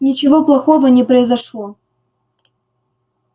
ничего плохого не произошло